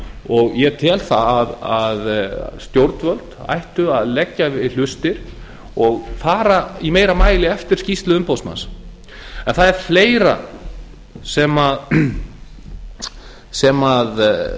og ég tel að stjórnvöld ættu að leggja við hlustir og fara í meira mæli eftir skýrslu umboðsmanns en það er fleira sem